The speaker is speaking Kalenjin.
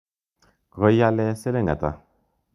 Koiale siling' ata?